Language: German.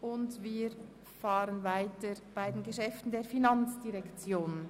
Nun kommen wir zu den Geschäften der FIN.